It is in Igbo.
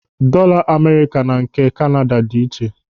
Dọọla Amerịka na nke Kanada dị iche.